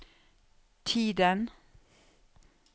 tiden